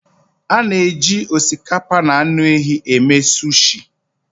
A na-eji osikapa na anụ ehi eme sushi